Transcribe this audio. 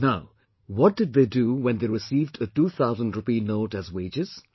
Now, what they did when they received a 2000 rupee note as wages